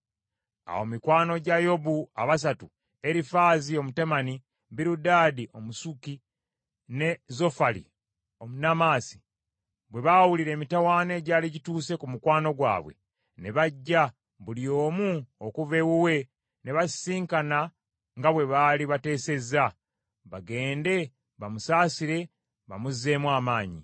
Awo mikwano gya Yobu abasatu; Erifaazi Omutemani, Birudaadi Omusuki, ne Zofali Omunaamasi bwe baawulira emitawaana egyali gituuse ku mukwano gwabwe, ne bajja buli omu okuva ewuwe ne basisinkana nga bwe baali bateesezza, bagende bamusaasire bamuzzeemu amaanyi.